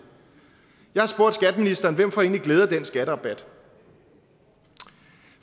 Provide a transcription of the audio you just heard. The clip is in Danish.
jeg har spurgt skatteministeren hvem får glæde af den skatterabat